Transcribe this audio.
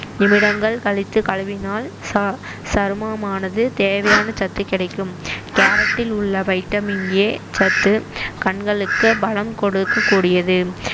நிமிடங்கள் கழித்து கழுவினால் ச~ சருமமானது தேவையான சத்து கிடைக்கும் கேரட்டில் உள்ள வைட்டமின் ஏ சத்து கண்களுக்கு பலம் கொடுக்கக் கூடியது